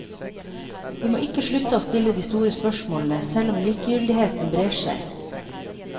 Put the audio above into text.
Vi må ikke slutte å stille de store spørsmålene, selv om likegyldigheten brer seg.